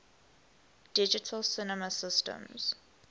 digital cinema systems